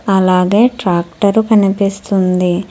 అలాగే ట్రాక్టర్ కనిపిస్తుంది.